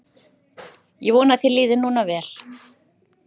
Ég vona að þér líði núna vel.